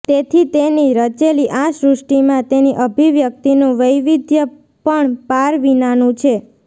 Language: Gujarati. તેથી તેની રચેલી આ સૃષ્ટિમાં તેની અભિવ્યક્તિનું વૈવિધ્ય પણ પાર વિનાનું છે